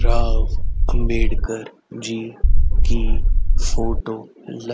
राव अंबेडकर जी की फोटो ल--